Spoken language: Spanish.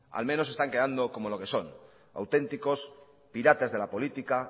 al menos están quedando como lo que son auténticos piratas de la política